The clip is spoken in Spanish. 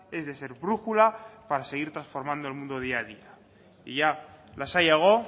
es de ser brújula para seguir transformando el mundo día a día y ya lasaiago